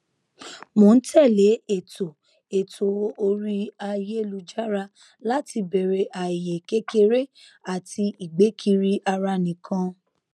mò n tẹlé ètò ètò orí ayélujára láti bèrè ààyè kékeré àti ìgbé kiri ara nìkan